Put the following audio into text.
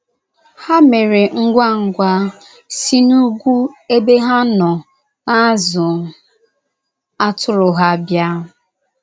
Ha mere ngwa ngwa si n’ugwu ebe ha nọ na - azụ atụrụ ha bịa.